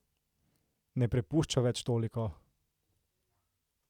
Ne prepušča več toliko?